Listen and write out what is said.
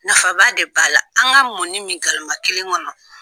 Nafa ba de b'a la an ka mɔni min galama kelen kɔnɔ.